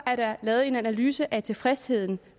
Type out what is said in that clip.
at der er lavet en analyse af tilfredsheden